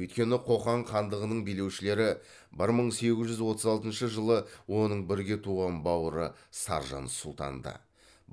өйткені қоқан хандығының билеушілері бір мың сегіз жүз отыз алтыншы жылы оның бірге туған бауыры саржан сұлтанды